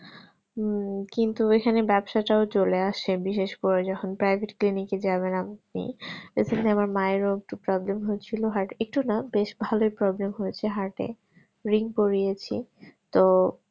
উহ কিন্তু এখানে ব্যাবসাটাও চলে আসে বিশেষ করে যখন private clinic যাবেন আপনি তো আমার মায়ের ও একটু problem হয়ে ছিল heart একটু না বেশ ভালোই problem হয়েছে heart এ ring পড়িয়েছে তো